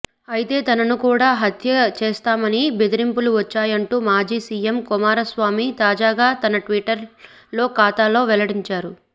అయితే తనను కూడా హత్య చేస్తామని బెదిరింపులు వచ్చాయంటూ మాజీ సీఎం కుమారస్వామి తాజాగా తన ట్విట్టర్ ఖాతాలో వెల్లడించారు